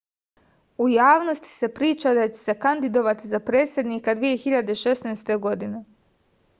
u javnosti se priča da će se kandidovati za predsednika 2016